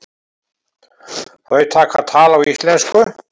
Þau taka tal á íslensku.